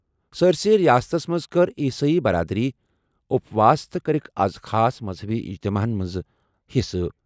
سٲرِسٕے رِیاستَس منٛز کٔر عیسٲئی برادٔری اُپواس تہٕ کٔرٕکھ آز خاص مذہبی اجتماعَن منٛز حصہٕ۔